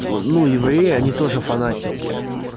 ну евреи они тоже фанатики